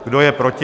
Kdo je proti?